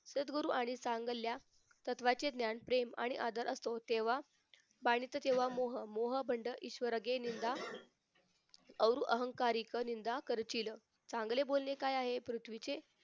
सद्गुरू आणि सांगल्या तत्वाचे ज्ञान प्रेम आणि आदर असतो तेव्हा बंदच तेव्हा मोह मोह बंड ईश्वर कि निंदा और अहंकारिक निंदा करशील चांगले बोलणे काय आहे पृथ्वीचे